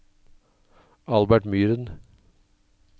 Albert Myren